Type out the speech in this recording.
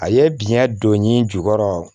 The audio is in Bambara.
A ye biyɛn don n'i jukɔrɔ